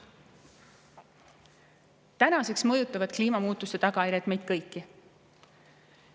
Tänaseks mõjutavad kliimamuutuste tagajärjed meid kõiki.